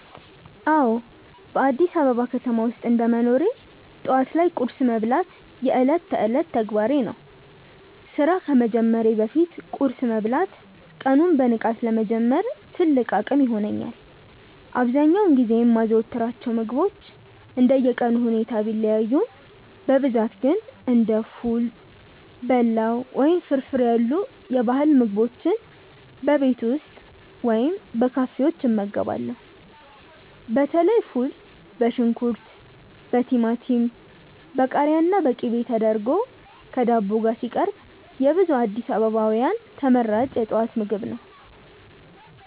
አዎ፣ በአዲስ አበባ ከተማ ውስጥ እንደ መኖሬ ጠዋት ላይ ቁርስ መብላት የዕለት ተዕለት ተግባሬ ነው። ስራ ከመጀመሬ በፊት ቁርስ መብላት ቀኑን በንቃት ለመጀመር ትልቅ አቅም ይሆነኛል። አብዛኛውን ጊዜ የማዘወትራቸው ምግቦች እንደየቀኑ ሁኔታ ቢለያዩም፣ በብዛት ግን እንደ ፉል፣ በላው ወይም ፍርፍር ያሉ የባህል ምግቦችን በቤት ውስጥ ወይም በካፌዎች እመገባለሁ። በተለይ ፉል በሽንኩርት፣ በቲማቲም፣ በቃሪያና በቅቤ ተደርጎ ከዳቦ ጋር ሲቀርብ የብዙ አዲስ አበባውያን ተመራጭ የጠዋት ምግብ ነው።